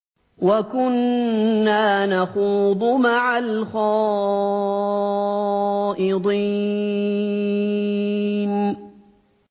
وَكُنَّا نَخُوضُ مَعَ الْخَائِضِينَ